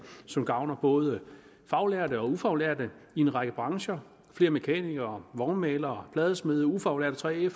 som gavner både faglærte og ufaglærte i en række brancher flere mekanikere vognmalere og pladesmede ufaglærte 3fere